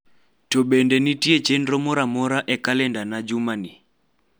to bede nitie chenro moro amoro e kalendana jumani